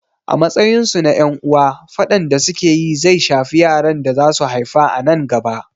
A matsayin su na ƴan uwa, faɗan da su ke yi zai shafi yaran da za su haifa a nan gaba.